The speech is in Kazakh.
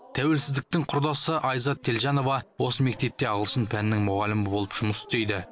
тәуелсіздіктің құрдасы айзат телжанова осы мектепте ағылшын пәнінің мұғалімі болып жұмыс істейді